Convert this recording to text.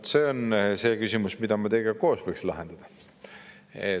Vot see on see küsimus, mida me teiega koos võiksime lahendada.